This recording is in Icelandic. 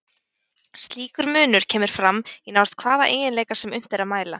Slíkur munur kemur fram í nánast hvaða eiginleika sem unnt er að mæla.